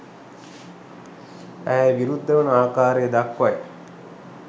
ඇය විරුද්ධ වන ආකාරය දක්වයි